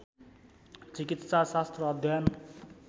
चिकित्सा शास्त्र अध्ययन